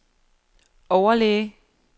overlæge